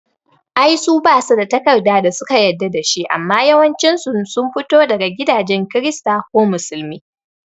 Ai su basu da takarda da suka yadda dashi amma yawancin su sun fito ne daga gidajen kirista ko musulmi